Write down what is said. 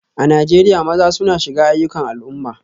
A Najeriya, maza suna shiga ayyukan al'umma